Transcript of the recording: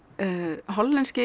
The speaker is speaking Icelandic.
hollenski